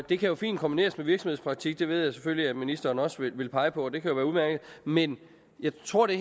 det kan jo fint kombineres med virksomhedspraktik det ved jeg selvfølgelig at ministeren også vil pege på og det kan være udmærket men jeg tror det